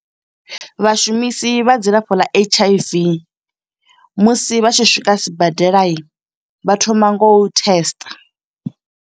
Vhashumisi vha dzilafho ḽa H_I_V musi vha tshi swika sibadela, vha thoma ngo u testa.